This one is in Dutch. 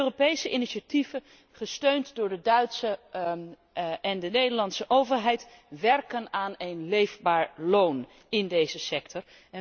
Europese initiatieven gesteund door de Duitse en de Nederlandse overheid werken aan een leefbaar loon in deze sector.